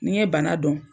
N'i ye bana dɔn